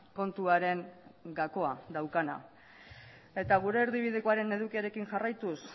kontuaren gakoa daukana eta gure erdibidekoaren edukiarekin jarraituz